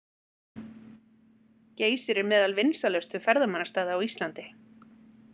Geysir er meðal vinsælustu ferðamannastaða á Íslandi.